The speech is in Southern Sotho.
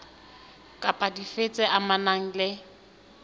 kapa dife tse amanang le